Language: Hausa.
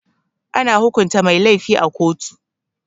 Ana hukunta mai lafi a koto.